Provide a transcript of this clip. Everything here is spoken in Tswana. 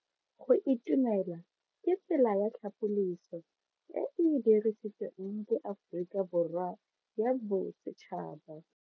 Go itumela ke tsela ya tlhapoliso e e dirisitsweng ke Aforika Borwa ya Bosetšhaba.